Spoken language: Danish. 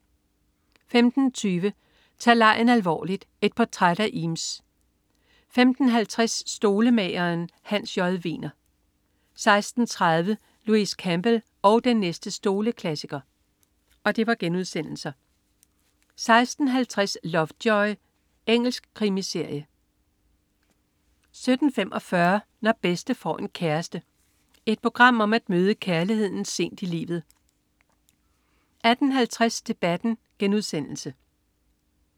15.20 Tag legen alvorligt. Et portræt af Eames* 15.50 Stolemageren. Hans J. Wegner* 16.30 Louise Campbell og den næste stoleklassiker* 16.50 Lovejoy. Engelsk krimiserie 17.45 Når bedste får en kæreste. Et program om at møde kærligheden sent i livet 18.40 Debatten*